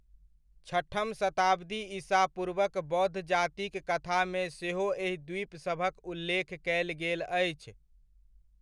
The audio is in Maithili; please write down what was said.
छठम शताब्दी ईसा पूर्वक बौद्ध जातिक कथामे सेहो एहि द्वीपसभक उल्लेख कयल गेल अछि।